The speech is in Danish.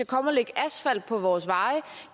komme og lægge asfalt på vores veje